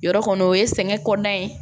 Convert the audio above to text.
Yɔrɔ kɔni o ye sɛgɛn kɔnɔna ye